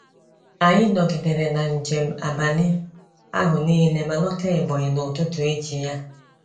Anyị nọgidere na njem abalị ahụ nile ma lọta Ebonyi n’ụtụtụ echi ya.